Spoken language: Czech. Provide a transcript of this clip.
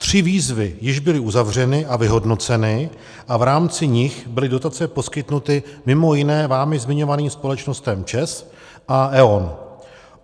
Tři výzvy již byly uzavřeny a vyhodnoceny a v rámci nich byly dotace poskytnuty mimo jiné vámi zmiňovaným společnostem ČEZ a E.ON.